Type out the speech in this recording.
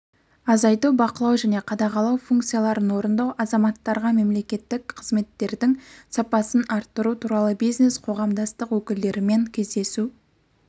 азайту бақылау және қадағалау функцияларын орындау азаматтарға мемлекеттік қызметтердің сапасын арттыру туралы бизнес-қоғамдастық өкілдерімен кездесу